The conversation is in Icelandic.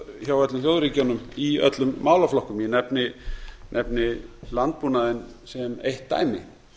hjá öllum þjóðríkjunum í öllum málaflokkum ég nefni landbúnaðinn sem eitt dæmi